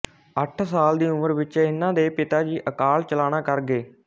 ਅੱਠ ਸਾਲ ਦੀ ਉਮਰ ਵਿੱਚ ਇਹਨਾਂ ਦੇ ਪਿਤਾ ਜੀ ਅਕਾਲ ਚਲਾਣਾ ਕਰ ਗਏ